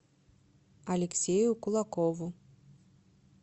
алексею кулакову